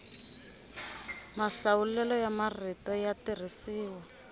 mahlawulelo ya marito ya tirhisiwa